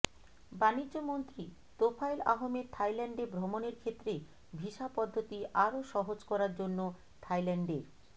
বাণিজ্যমন্ত্রী তোফায়েল আহমেদ থাইল্যান্ডে ভ্রমণের ক্ষেত্রে ভিসা পদ্ধতি আরো সহজ করার জন্য থাইল্যান্ডের